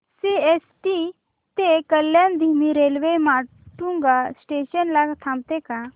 CST ते कल्याण धीमी railway Matunga station ला थांबते का